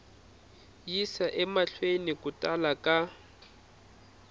yisa emahlweni ku tala ka